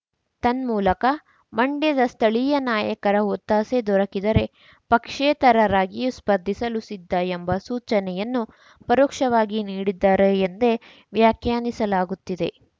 ತನ್ಮೂಲಕ ಮಂಡ್ಯದ ಸ್ಥಳೀಯ ನಾಯಕರ ಒತ್ತಾಸೆ ದೊರಕಿದರೆ ಪಕ್ಷೇತರರಾಗಿಯೂ ಸ್ಪರ್ಧಿಸಲು ಸಿದ್ಧ ಎಂಬ ಸೂಚನೆಯನ್ನು ಪರೋಕ್ಷವಾಗಿ ನೀಡಿದ್ದಾರೆ ಎಂದೇ ವ್ಯಾಖ್ಯಾನಿಸಲಾಗುತ್ತಿದೆ